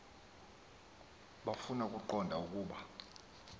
bafuna ukuqonda ukuba